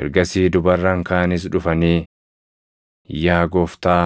“Ergasii dubarran kaanis dhufanii, ‘Yaa Gooftaa,